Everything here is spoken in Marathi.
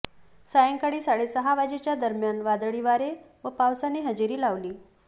सायंकाळी साडेसहा वाजेच्या दरम्यान वादळी वारे व पावसाने हजेरी लावली